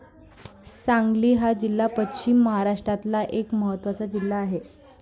सांगली हा जिल्हा पश्चिम महाराष्ट्रातला एक महत्वाचा जिल्हा आहे.